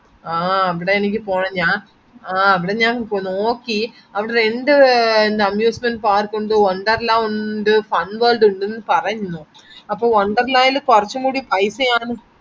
ആഹ് അവിടെ എനിക്ക് പോണം ഞാ ആഹ് അവിടെ ഞാൻ നോക്കി അവിടെ രണ്ട് amusement park ഉണ്ട് wonderla ഉണ്ട് fun world എന്ന് പറയുന്ന് അപ്പൊ wonderla ഇൽ കുറച്ചുംകൂടി പൈസയാണെന്ന്